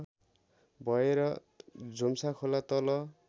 भएर झुम्साखोला तल